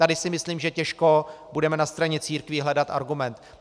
Tady si myslím, že těžko budeme na straně církví hledat argument.